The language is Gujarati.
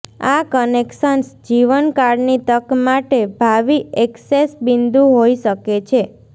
આ કનેક્શન્સ જીવનકાળની તક માટે ભાવિ ઍક્સેસ બિંદુ હોઈ શકે છે